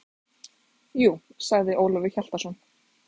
Jú, sagði Ólafur Hjaltason.